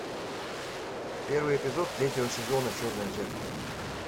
первый эпизод третьего сезона черное зеркало